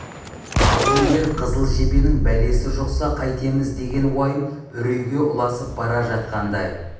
ал егер қызыл жебенің бәлесі жұқса қайтеміз деген уайым үрейге ұласып бара жатқандай